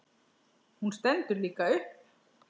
Hún stendur líka upp.